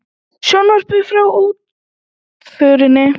Sjónvarpað frá útförinni